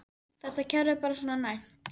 Þetta kerfi er bara svona næmt.